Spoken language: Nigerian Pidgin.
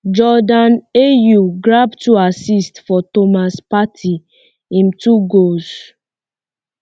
jordan um ayew grab two assists for um thomas partey im two goals